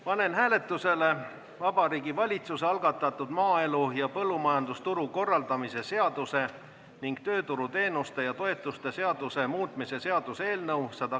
Panen hääletusele Vabariigi Valitsuse algatatud maaelu ja põllumajandusturu korraldamise seaduse ning tööturuteenuste ja -toetuste seaduse muutmise seaduse eelnõu.